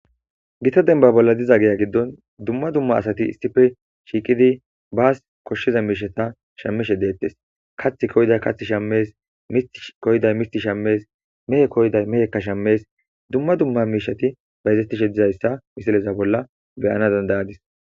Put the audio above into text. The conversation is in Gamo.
Gita dembba bolla diza giya giddon dumma dumma asati issippe shiiqidii baas koshshiza miishshata shammishe dettes kaththi koyiday kaththi shammees miiththi koyiday miiththi shammees mehe koyiday mehekka shammees dumma dumma miishshati bayzetishe dizayssa misileza bolla beyana danda'adis